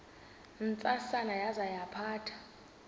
ntsasana yaza yaphatha